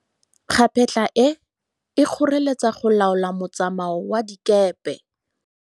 Kgapetla e, e kgoreletsa go laola motsamao wa dikepe.